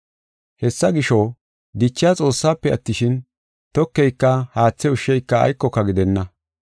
Hessa gisho, dichiya Xoossafe attishin, tokeyka haathe ushsheyka aykoka gidenna.